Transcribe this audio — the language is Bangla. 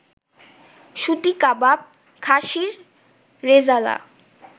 সুতি কাবাব, খাশির রেজালা